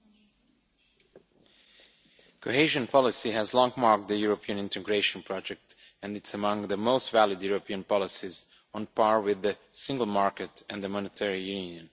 Mr President, cohesion policy has long marked the European integration project and is among the most valid European policies, on par with the single market and the monetary union.